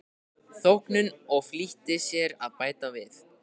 þóknun og flýtti sér að bæta við